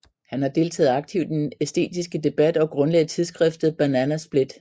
Han har deltaget aktivt i den æstetiske debat og grundlagde tidsskriftet Banana Split